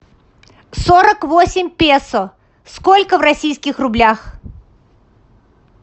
сорок восемь песо сколько в российских рублях